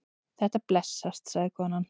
Þetta blessast, sagði konan.